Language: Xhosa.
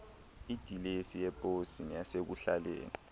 idilesi yeposi neyasekuhlaleni